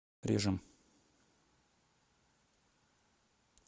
режем